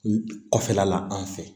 Kɔfɛla la an fɛ